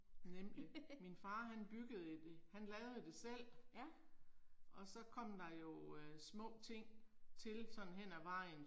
Nemlig. Min far han byggede et, han lavede det selv. Og så kom der jo øh små ting til sådan hen ad vejen